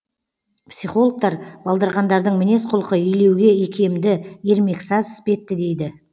психологтар балдырғандардың мінез құлқы илеуге икемді ермексаз іспетті дейді